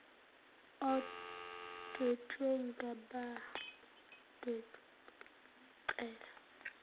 odwetshwe ngabadwebi bemincele